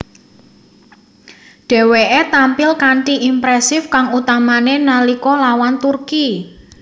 Dheweke tampil kanthi impresif kang utamane nalika lawan Turki